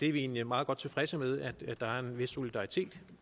er egentlig meget godt tilfredse med at der er en vis solidaritet